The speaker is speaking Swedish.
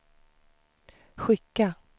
skicka